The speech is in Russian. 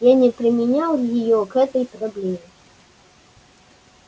я не применял её к этой проблеме